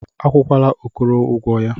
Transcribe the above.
Akwụkwala Okoro ụgwọ ya.